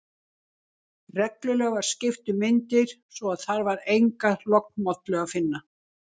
Reglulega var skipt um myndir, svo að þar var enga lognmollu að finna.